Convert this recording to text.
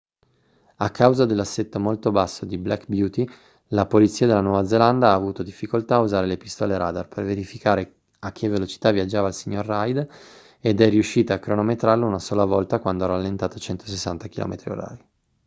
a causa dell'assetto molto basso di black beauty la polizia della nuova zelanda ha avuto difficoltà a usare le pistole radar per verificare a che velocità viaggiava il signor reid ed è riuscita a cronometrarlo una sola volta quando ha rallentato a 160 km/h